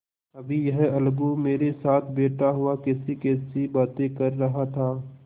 अभी यह अलगू मेरे साथ बैठा हुआ कैसीकैसी बातें कर रहा था